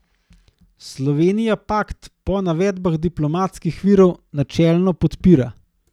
Slovenija pakt po navedbah diplomatskih virov načelno podpira.